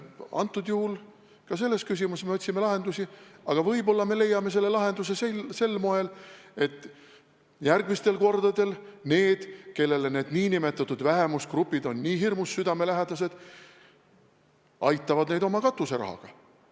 Antud juhul ka selles küsimuses me otsime lahendusi ja võib-olla me leiame selle lahenduse sel moel, et järgmistel kordadel need, kellele need nn vähemusgrupid on hirmus südamelähedased, aitavad neid oma katuserahaga.